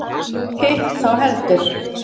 Hitt þó heldur.